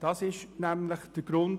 Dies ist der Grund.